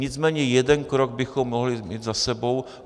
Nicméně jeden krok bychom mohli mít za sebou.